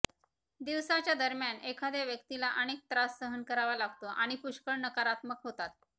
दिवसाच्या दरम्यान एखाद्या व्यक्तीला अनेक त्रास सहन करावा लागतो आणि पुष्कळ नकारात्मक होतात